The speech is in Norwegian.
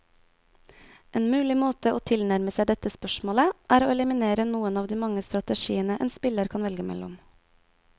En mulig måte å tilnærme seg dette spørsmålet, er å eliminere noen av de mange strategiene en spiller kan velge mellom.